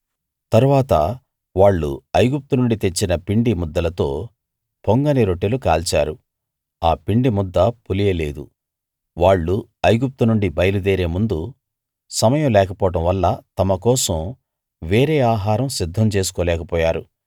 తరువాత వాళ్ళు ఐగుప్తు నుండి తెచ్చిన పిండి ముద్దలతో పొంగని రొట్టెలు కాల్చారు ఆ పిండి ముద్ద పులియలేదు వాళ్ళు ఐగుప్తునుండి బయలు దేరే ముందు సమయం లేకపోవడం వల్ల తమ కోసం వేరే ఆహారం సిద్ధం చేసుకోలేక పోయారు